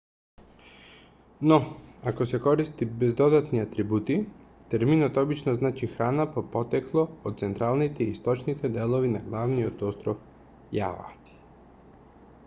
но ако се користи без додатни атрибути терминот обично значи храна по потекло од централните и источните делови на главниот остров јава